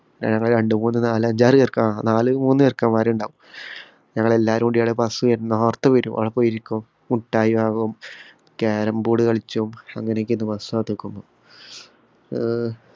ഞങ്ങള് രണ്ടുമൂന്നു നാലഞ്ചാറ് ചെറുക്കന്മാ ആഹ് നാല് മൂന്ന് ചെറുക്കന്മാരുണ്ടാവും. ഞങ്ങളെല്ലാവരും കൂടിയാണ് bus വരുന്നോ ന്നോര്‍ത്ത് വരും. അവിടെപോയി ഇരിക്കും. മുട്ടായി വാങ്ങും, carrom board കളിച്ചും, അങ്ങനെയൊക്കെയാരുന്നു bus കാത്തുനിക്കുന്നു ഏർ